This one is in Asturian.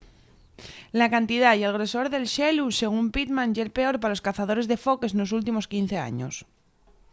la cantidá y el grosor del xelu según pittman ye’l peor pa los cazadores de foques nos últimos 15 años